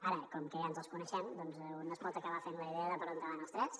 ara com que ja ens els coneixem un es pot acabar fent la idea de per on van els trets